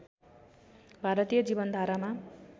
भारतीय जीवन धारामा